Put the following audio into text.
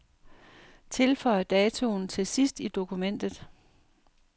Tilføj datoen til sidst i dokumentet.